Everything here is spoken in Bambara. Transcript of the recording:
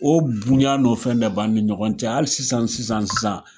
O bonya n'o fɛn de b'ani ɲɔgɔn cɛ hali sisan sisan sisan.